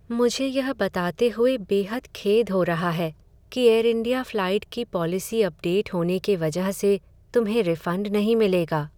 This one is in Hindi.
मुझे यह बताते हुए बेहद खेद हो रहा है कि एयरइंडिया फ्लाइट की पॉलिसी अपडेट होने के वजह से तुम्हें रिफंड नहीं मिलेगा।